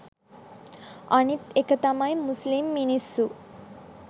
අනිත් එක තමයි මුස්‌ලිම් මිනිස්‌සු